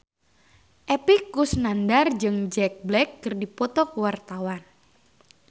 Epy Kusnandar jeung Jack Black keur dipoto ku wartawan